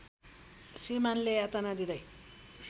श्रीमान्‌ले यातना दिँदै